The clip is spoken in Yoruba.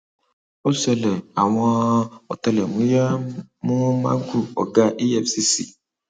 ó ṣẹlẹ àwọn àwọn ọtẹlẹmúyẹ mú magu ọgá efcc